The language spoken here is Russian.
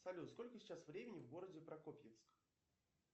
салют сколько сейчас времени в городе прокопьевск